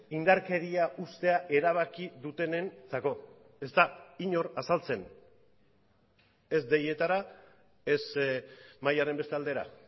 indarkeria uztea erabaki dutenentzako ez da inor azaltzen ez deietara ez mahaiaren beste aldera